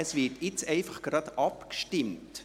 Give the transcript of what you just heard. Jetzt wird einfach sofort abgestimmt.